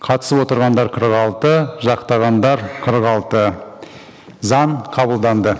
қатысып отырғандар қырық алты жақтағандар қырық алты заң қабылданды